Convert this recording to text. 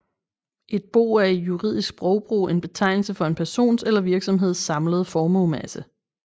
Et bo er i juridisk sprogbrug en betegnelse for en persons eller virksomheds samlede formuemasse